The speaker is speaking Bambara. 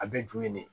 A bɛ ju ye nin